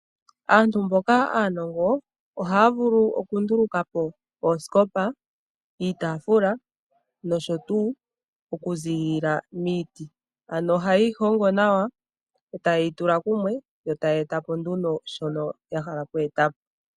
Aantu mboka aanongo ohaya vulu okunduluka po oosikopa , iitafuula nosho tuu okuziilila miiti. Ohaye yi hongo nawa yo taye yi tula kumwe yo taya eta po nduno shono ya hala oku eta po.